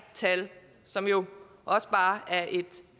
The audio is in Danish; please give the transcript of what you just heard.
tal som jo også bare er et